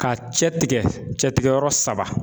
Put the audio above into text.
Ka cɛ tigɛ cɛtigɛyɔrɔ saba.